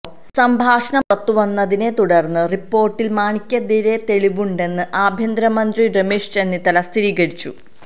സംഭാഷണം പുറത്തുവന്നതിനെ തുടര്ന്ന് റിപ്പോര്ട്ടില് മാണിക്കെതിരായി തെളിവുണ്ടെന്ന് ആഭ്യന്തരമന്ത്രി രമേശ് ചെന്നിത്തല സ്ഥിരീകരിച്ചു